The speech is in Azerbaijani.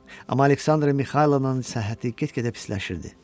Amma Aleksandra Mixaylovnanın səhhəti get-gedə pisləşirdi.